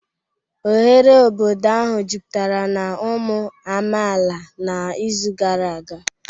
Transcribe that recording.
Oghere obodo ahụ jupụtara na ụmụ amaala n'izu gara aga